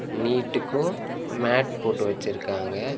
நீட்டுக்கு மேட் போட்டு வச்சு இருக்காங்க.